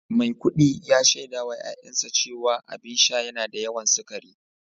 Maikudi ya shaida wa ’ya’yansa cewa abin sha yana da yawan sukari